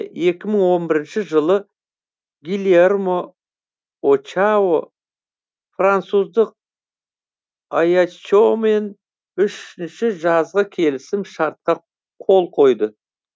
жылы гильермо очао француздық аяччомен үшінші жазғы келісім шартқа қол қойды